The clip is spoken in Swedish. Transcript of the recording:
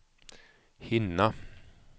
hinna